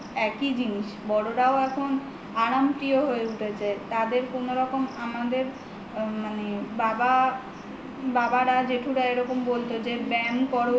একই জিনিস বড়রাও এখন আরামপ্রিয় হয়ে উঠেছে তাদের কোনো রকম আমাদের মানে বাবারা জেঠুরা এরকম বলত যে ব্যয়াম করো